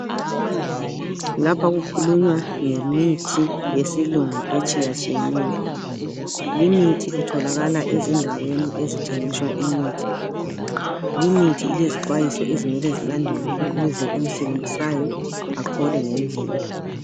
Lapha kukhulunywa ngemithi yesilungu etshiyeneyo. Limithi itholakala ezindaweni ezithengiswa imithi. Limithi ilezixwayiso ezimele zilandelwe ukuze oyisebenzisayo aphole ngendlela.